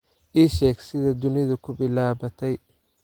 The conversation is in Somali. ii sheeg sida dunidu ku bilaabatay